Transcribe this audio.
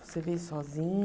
Você veio